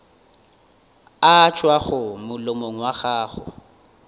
a tšwago molomong wa gago